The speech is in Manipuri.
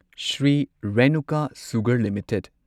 Shri Renuka sugar limited